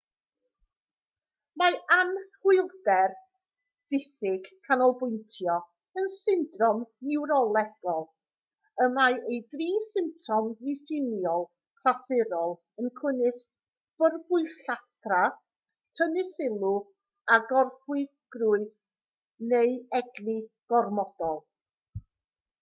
mae anhwylder diffyg canolbwyntio yn syndrom niwrolegol y mae ei dri symptom diffiniol clasurol yn cynnwys byrbwylltra tynnu sylw a gorfywiogrwydd neu egni gormodol